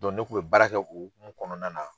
ne tun bɛ baarakɛ u hokumu kɔnɔna na.